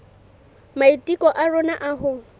maiteko a rona a ho